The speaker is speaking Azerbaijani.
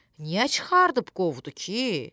Niyə çıxardıb qovdu ki?